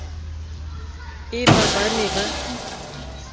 e ba ba ne ba